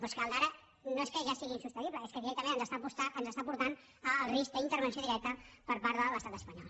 però és que el d’ara no és que ja sigui insostenible és que directament ens està portant al risc d’intervenció directa per part de l’estat espanyol